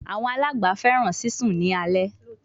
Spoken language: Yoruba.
Awọn alangba fẹràn sisùn ni alẹ